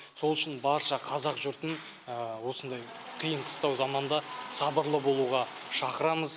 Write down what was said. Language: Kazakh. сол үшін барша қазақ жұртын осындай қиын қыстау заманда сабырлы болуға шақырамыз